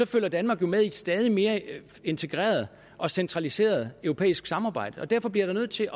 følger danmark jo med i et stadig mere integreret og centraliseret europæisk samarbejde og derfor bliver jeg nødt til